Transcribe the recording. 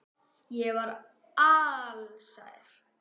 Ég var alsæl.